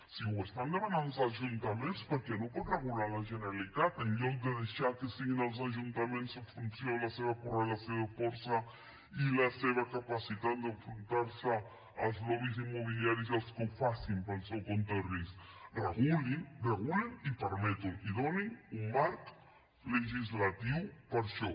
si ho estan demanant els ajuntaments per què no ho pot regular la generalitat en lloc de deixar que siguin els ajuntaments en funció de la seva correlació de força i la seva capacitat d’enfrontar se al lobbysmobiliaris els que ho facin pel seu compte i risc regulin regulin i permetin ho i donin un marc legislatiu per a això